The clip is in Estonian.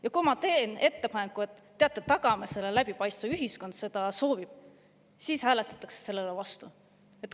Ja kui ma teen ettepaneku, et teate, tagame selle läbipaistvuse, ühiskond seda soovib, siis hääletatakse sellele vastu.